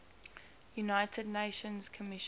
united nations commission